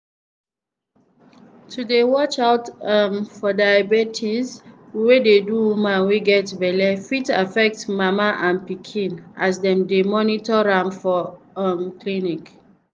to dey watch out um for diabetes wey dey do woman wey get belle fit affect mama and pikin as dem dey monitor am for um clinics